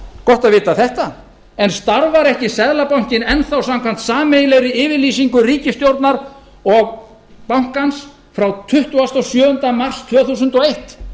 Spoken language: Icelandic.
gott að vita þetta en starfar ekki seðlabankinn enn þá samkvæmt sameiginlegri yfirlýsingu ríkisstjórnar og bankans ið frá tuttugasta og sjöunda mars tvö þúsund og eitt